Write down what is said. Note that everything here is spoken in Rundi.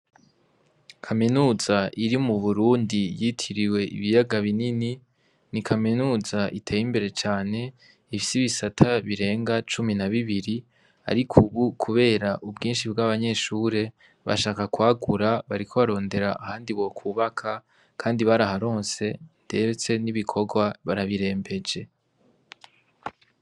Kaminuza iri mu Burundi yitiriwe ibiyaga binini, ni kaminuza iteye imbere cane ifise ibisata birenga cumi na bibiri ariko ubu kubera ubwinshi bw'abanyeshure bashaka kwagura bariko barondera ahandi bokwubaka kandi baraharonse ndetse n'ibikorwa barabirembeje.